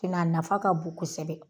a nafa ka bon kosɛbɛ